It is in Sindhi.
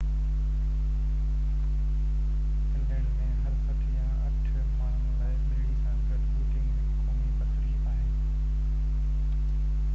فنلينڊ ۾ هر سٽ يا اٺ ماڻهن لاءِ ٻيڙي سان گڏ بوٽنگ هڪ قومي تفريح آهي